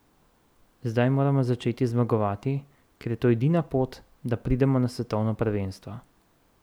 Zdaj moramo začeti zmagovati, ker je to edina pot, da pridemo na svetovno prvenstvo.